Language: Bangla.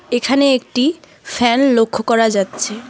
এখানে একটি ফ্যান লক্ষ করা যাচ্ছে।